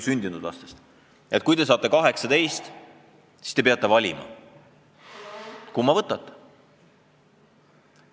Nendele öeldakse, et kui te saate 18, siis te peate valima, kumma kodakondsuse võtate.